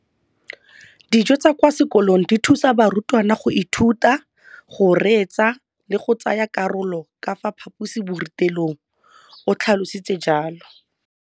Dijo tsa kwa sekolong dithusa barutwana go ithuta, go reetsa le go tsaya karolo ka fa phaposiborutelong, o tlhalositse jalo.